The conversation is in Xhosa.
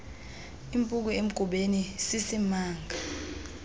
impuku emgubeni sisimanga